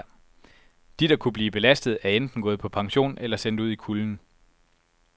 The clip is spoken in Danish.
De der kunne blive belastet, er enten gået på pension eller sendt ud i kulden.